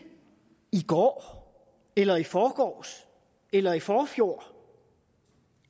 i går eller i forgårs eller i forfjor